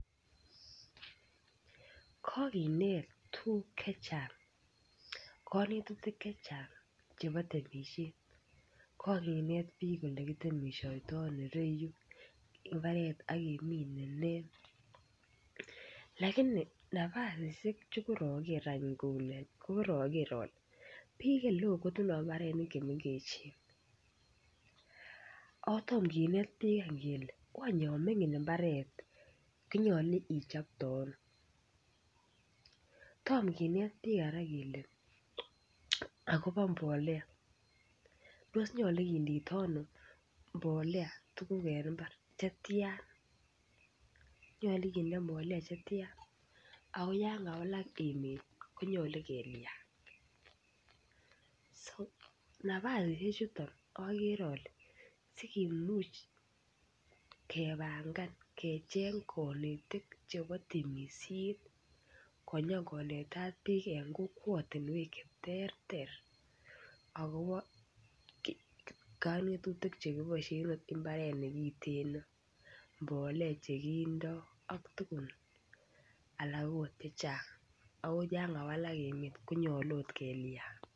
Kokineet tukuk chechang', kanetutik chechang' chebo temisiet. Kokinet piik olekitemisheitai nereichu imbaret ak kemine nee. Lakini nafasishek che koaker any kole koaker ale pik alak kotindoi mbarenik che mengechen. Ak toma kineet pik any kele wany ya mining mbaret konyolu ichopte ano. Toma kinet pik kora kele akopa mbolea. Tos nyolu kindoitoi ano mbolea tukuk eng mbar, chetia. Nyolu kinde mbolea chetia. Ako ya kawalak emet konyolu kelia. So nafasishek chuton akere ale sikimuch kepangan kecheng' konetik chebo temishet konyokonetat pik eng kokwatinwek cheterter akopo kanetutik chekiboishei eng mbaret neiteen, mbolea chekindoi ak tukun alak angot chechang' ako ya kawalak emet konyolu ot kelya.